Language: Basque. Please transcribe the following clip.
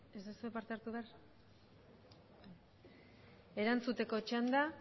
ez duzue parte hartu behar erantzuteko txanda